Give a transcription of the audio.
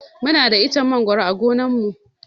Muna da ichen mangoro a gonan mu.